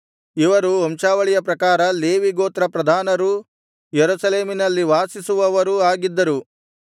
ಇವರು ವಂಶಾವಳಿಯ ಪ್ರಕಾರ ಲೇವಿಗೋತ್ರ ಪ್ರಧಾನರೂ ಯೆರೂಸಲೇಮಿನಲ್ಲಿ ವಾಸಿಸುವವರೂ ಆಗಿದ್ದರು